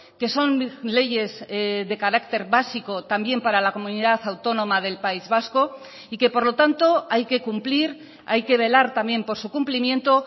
que son leyes de carácter básico también para la comunidad autónoma del país vasco y que por lo tanto hay que cumplir hay que velar también por su cumplimiento